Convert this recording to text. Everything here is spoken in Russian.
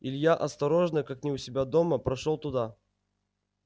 илья осторожно как не у себя дома прошёл туда